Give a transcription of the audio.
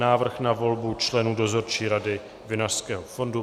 Návrh na volbu členů Dozorčí rady Vinařského fondu